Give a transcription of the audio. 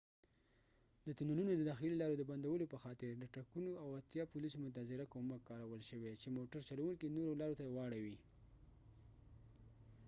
د تونلونو د داخلي لارو د بندولو په خاطر د ټرکونو او اتیا پولیسو منتظره کومک کارول شوي و چې موټر چلونکي نورو لارو ته واړوي